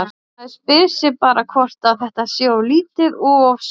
Maður spyr sig bara hvort að þetta sé of lítið og of seint?